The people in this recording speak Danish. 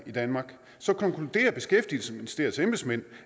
i danmark konkluderer beskæftigelsesministeriets embedsmænd